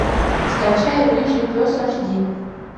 скачай рыжий пес аш ди